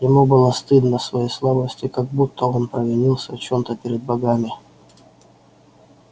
ему было стыдно своей слабости как будто он провинился в чём то перед богами